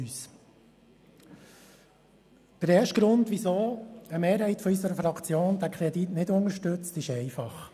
Der erste Grund, weshalb eine Mehrheit unserer Fraktion den Kredit nicht unterstützt, ist einfach.